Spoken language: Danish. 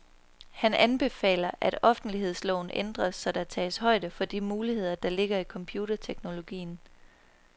Han anbefaler, at offentlighedsloven ændres, så der tages højde for de muligheder, der ligger i computerteknologien.